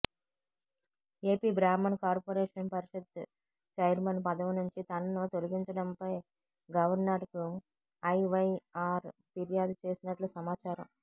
AP బ్రాహ్మణ corporation షరిషత్ chairman పదవి నుంచి తనను తొలిగించడంపై గవర్నర్కు ఐవైఆర్ ఫిర్యాదు చేసినట్లు సమాచారం